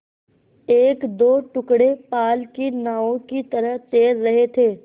एकदो टुकड़े पाल की नावों की तरह तैर रहे थे